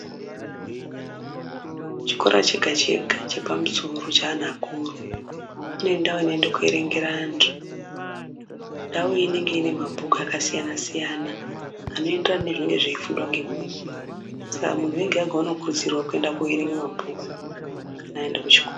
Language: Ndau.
Chikora chega chega chepamusoro cheanhu akuru kunoenda vanoenda koverengera antu ndau inenge ine mabhuku akasiyana siyana anoenderana nezvinenge zveifundwa nemunhu. Saka munhu ega ega unokuruzirwa kuenda koverenge mabhuku kana aende kuchikora.